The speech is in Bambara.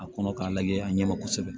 A kɔnɔ k'a lajɛ a ɲɛ ma kosɛbɛ